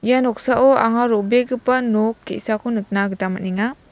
ia noksao anga ro·begipa nok te·sako nikna gita man·enga.